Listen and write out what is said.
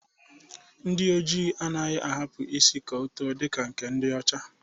Ndi Ojii anyi anaghị ahapụ isi ka o too dịka nke ndi ọcha